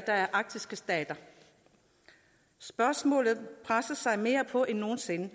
der er arktiske stater spørgsmålene presser sig mere på end nogen sinde